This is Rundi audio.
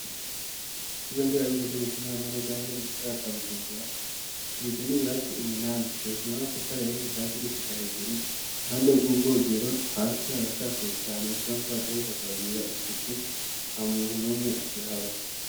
Ikigo ndera bishishe mu kinyama neza neza m misagaha ca bujumbura akigizwe n'ibirasi umunani dorkira no tafareye hekuva hasi gushika hejuru muhande bw'ubwogero hasi harashapfuye cane bisamakoadahebukabagira isuku ha muntu n'umwe akihaba.